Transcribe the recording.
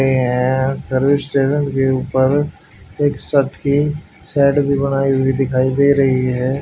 ए है service station के ऊपर एक की शेड भी बनाई हुई दिखाई दे रही है।